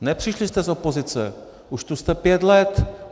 Nepřišli jste z opozice, už tu jste pět let.